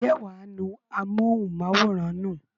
ǹjẹ́ wà á nu amóhùnmáwòrán nù?